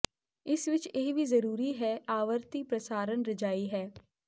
ਇਸ ਵਿਚ ਇਹ ਵੀ ਜ਼ਰੂਰੀ ਹੈ ਆਵਰਤੀ ਪ੍ਰਸਾਰਣ ਰਜਾਈ ਹੈ